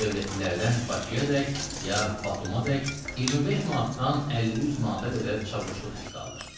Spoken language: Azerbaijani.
Dövlətlilərdən Bakıyaədək, ya Batuməədək 25 manatdan 50-100 manata qədər çavuşluq haqqı alır.